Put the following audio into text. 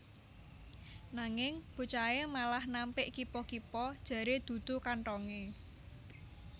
Nanging bocahé malah nampik kipa kipa jaré dudu kanthongé